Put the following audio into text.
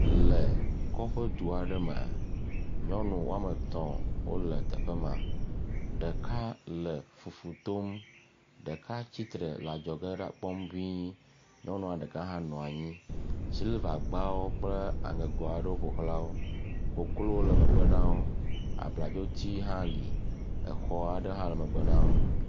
Le kɔƒedu aɖe me nyɔnu woametɔ̃ wole teƒe ma ɖeka le fufu tom ɖeka tsi tre le adzɔ ge da kpɔm ŋii, nyɔnua ɖeka hã nɔ anyi, siliva gbawo kple aŋego aɖewo ƒoxlawo koklo le megbe na wo abladzo hã li, exɔ aɖe hã le megbe na wo.